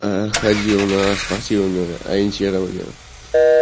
ходил на спортивное ориентирование